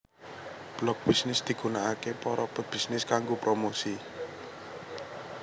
Blog Bisnis digunakaké para pebisnis kanggo promosi